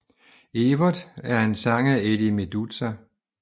Evert er en sang af Eddie Meduza